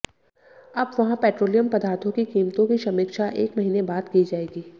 अब वहां पेट्रोलियम पदार्थो की कीमतों की समीक्षा एक महीने बाद की जाएगी